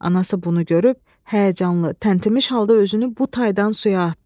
Anası bunu görüb həyəcanlı, tənkimmiş halda özünü bu taydan suya atdı.